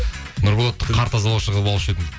нұрболатты қар тазалаушы қылып алушы едім